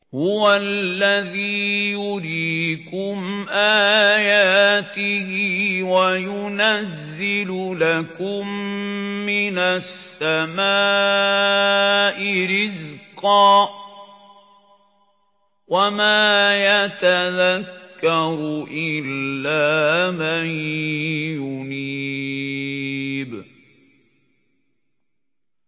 هُوَ الَّذِي يُرِيكُمْ آيَاتِهِ وَيُنَزِّلُ لَكُم مِّنَ السَّمَاءِ رِزْقًا ۚ وَمَا يَتَذَكَّرُ إِلَّا مَن يُنِيبُ